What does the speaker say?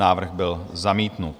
Návrh byl zamítnut.